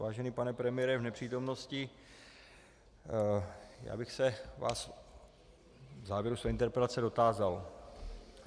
Vážený pane premiére v nepřítomnosti, já bych se vás v závěru své interpelace dotázal.